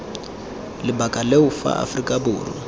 lebaka leo fa aforika borwa